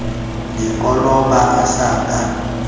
le koloba a sa ka